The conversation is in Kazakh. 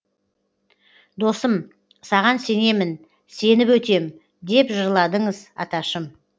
досым саған сенемін сеніп өтем деп жырладыңыз аташым